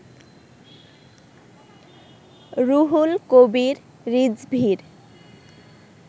Ruhul Kabir রিজভীর